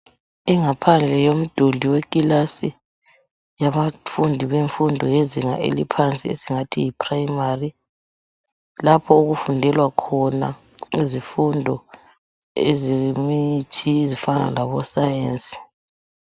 Ingaphandle yomduli wekilasi yabafundi bemfundo yezinga eliphansi esingathi yi primary lapho okufundelwa khona izifundo ezifana labo Sayensi.